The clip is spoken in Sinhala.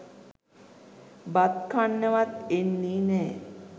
බත් කන්නවත් එන්නේ නෑ.